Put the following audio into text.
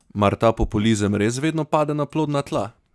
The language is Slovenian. Mar ta populizem res vedno pade na plodna tla?